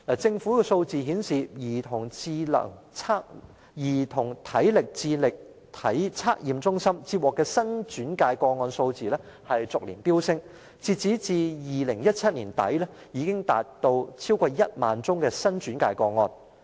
政府的數字顯示，兒童體能智力測驗中心接獲的新轉介個案數字逐年飆升，截至2017年年底已達超過1萬宗新轉介個案。